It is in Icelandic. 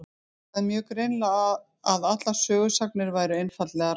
Hann sagði mjög greinilega að allar sögusagnir væru einfaldlega rangar.